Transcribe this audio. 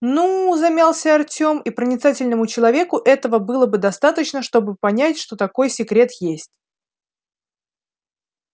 ну замялся артём и проницательному человеку этого было бы достаточно чтобы понять что такой секрет есть